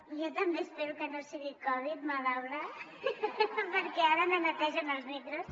jo també espero que no sigui covid madaula perquè ara no netegen els micros